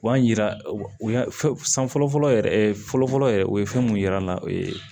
U b'a yira u y'a fɔ san fɔlɔ fɔlɔ yɛrɛ fɔlɔ fɔlɔ yɛrɛ u ye fɛn mun yira an na o ye